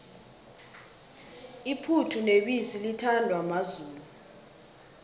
iphuthu nebisi lithandwa mazulu